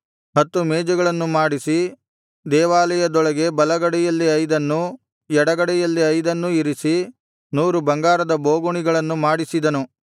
ಹತ್ತು ಮೇಜುಗಳನ್ನು ಮಾಡಿಸಿ ದೇವಾಲಯದೊಳಗೆ ಬಲಗಡೆಯಲ್ಲಿ ಐದನ್ನೂ ಎಡಗಡೆಯಲ್ಲಿ ಐದನ್ನೂ ಇರಿಸಿ ನೂರು ಬಂಗಾರದ ಬೋಗುಣಿಗಳನ್ನು ಮಾಡಿಸಿದನು